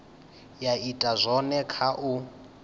ya ita zwone kha u